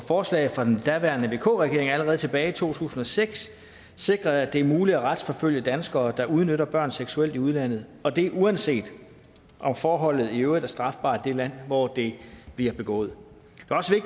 forslag fra den daværende vk regering allerede tilbage i to tusind og seks sikrede at det er muligt at retsforfølge danskere der udnytter børn seksuelt i udlandet og det er uanset om forholdet i øvrigt er strafbart i det land hvor det bliver begået